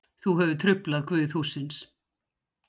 Þú hefur truflað guð hússins.